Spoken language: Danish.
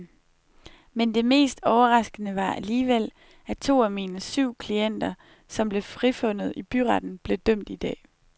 Men det mest overraskende var alligevel, at to af mine syv klienter, som blev frifundet i byretten, blev dømt i dag.